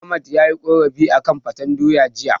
Ahmad yayi korafi akan faten doyar jiya.